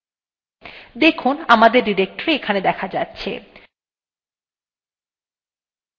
আমাদের directory of path variable এর একটি অংশ হয়ে গেছে